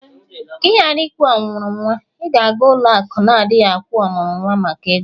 ka ị ghara ịkwụ ọmụrụ nwa, ị ga-aga ụlọ akụ na-adighị agwu ọmụrụ nwa maka ego